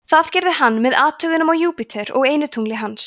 það gerði hann með athugunum á júpíter og einu tungli hans